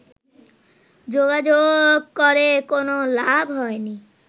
যোগাযোগ করে কোনো লাভ হয়নি